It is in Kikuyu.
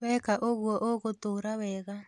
Weka ũguo ũgũtũũra wega